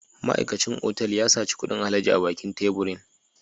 Ma'aikacin otal ya saci kudin alhaji a bakin teburin